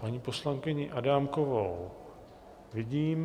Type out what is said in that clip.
Paní poslankyni Adámkovou vidím...